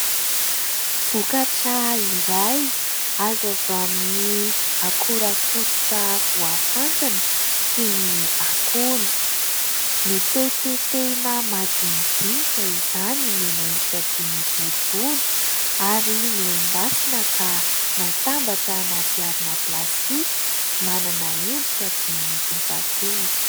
Vokatra iray azo avy amin'ny akora fototra voafantina toy ny akondro. Notetitetehina madinidinika izany nomena endrika toy ny boribory ary nendasina ka natambatra anaty harona plastika manana endrika toy ny efajoro.